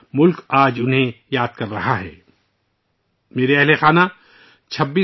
آج ملک ، ان بہادر لوگوں کو یاد کر رہا ہے ، جنہوں نے حملے کے دوران اپنی عظیم قربانیاں پیش کیں